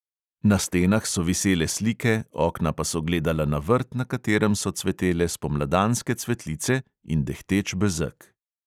Na stenah so visele slike, okna pa so gledala na vrt, na katerem so cvetele spomladanske cvetlice in dehteč bezeg.